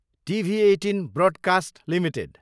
TV eighteen broadcast limited